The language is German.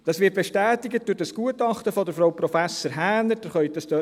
Dies wird durch das Gutachten von Frau Prof. Häner bestätigt.